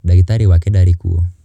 Ndagitarĩ wake ndarĩ kuũ.